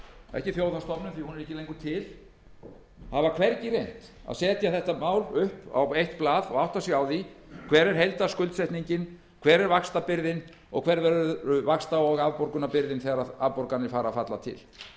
ekki þjóðhagsstofnun því að hún er ekki lengur til hafa hvergi reynt að setja málið upp á eitt blað og átta sig á því hver er heildarskuldsetningin hver er vaxtabyrðin og hver verður vaxta og afborgunarbyrðin þegar afborganir fara að falla til